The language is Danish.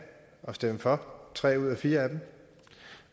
og stemme for tre ud af fire af dem